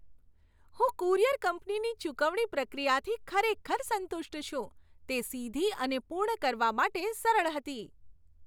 હું કુરિયર કંપનીની ચુકવણી પ્રક્રિયાથી ખરેખર સંતુષ્ટ છું. તે સીધી અને પૂર્ણ કરવા માટે સરળ હતી.